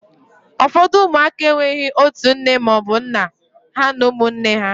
ụfọdụ ụmụaka enweghị otu nne ma ọ bụ nna ha na ụmụnne ha